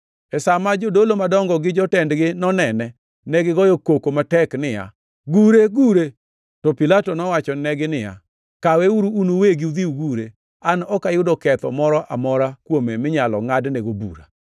E sa ma jodolo madongo gi jotendgi nonene, negigoyo koko matek niya, “Gure! Gure!” To Pilato nowachonegi niya, “Kaweuru un uwegi udhi ugure. An ok ayudo ketho moro amora kuome minyalo ngʼadonego bura.”